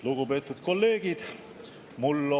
Lugupeetud kolleegid!